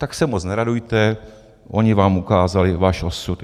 Tak se moc neradujte, oni vám ukázali váš osud.